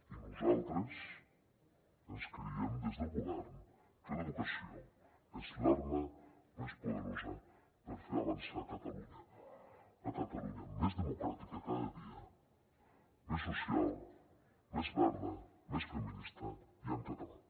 i nosaltres ens creiem des del govern que l’educació és l’arma més poderosa per fer avançar catalunya la catalunya més democràtica cada dia més social més verda més feminista i en català